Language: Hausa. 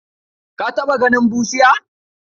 Ka taɓa ganin bushiya?